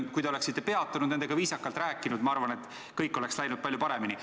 Kui te oleksite peatunud ja nendega viisakalt rääkinud, siis, ma arvan, oleks kõik läinud palju paremini.